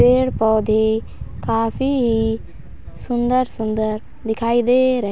पेड़-पौधे काफी ही सुंदर-सुंदर दिखाई दे रहे --